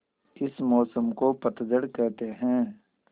इस मौसम को पतझड़ कहते हैं